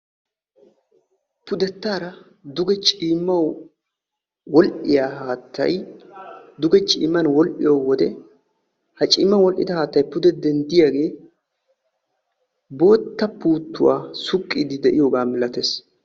Pudettaara duge ciimaw wol"iyaa haattay duge ciman wol"iyo wode ha ciman wol"idda haattay pude denddiyaage bootta puuttuwa suqiide de'iyooga milaatees.